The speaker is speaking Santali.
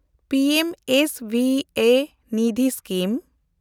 P M S V A Nidhi scheme